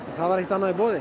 það var ekkert annað í boði